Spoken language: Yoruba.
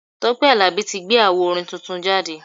Tọ́pẹ́ Àlàbí tí gbé awo orin tuntun jáde.